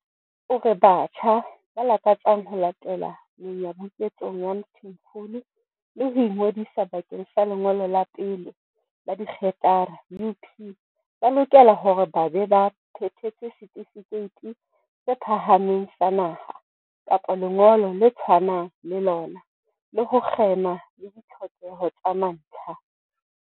O re batjha ba lakatsang ho latela menyabuketsong ya Mthimkhulu le ho ingodisa bakeng sa lengolo la pele la dikgerata U, P ba lokela hore ba be ba phethetse Setifikeiti se Phahameng sa Naha, kapa lengolo le tshwanang le lona, le ho kgema le ditlhokeho tsa mantlha.